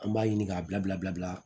An b'a ɲini k'a bila bila